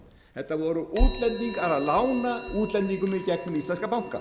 þetta voru útlendingar að lána útlendingum í gegnum íslenska banka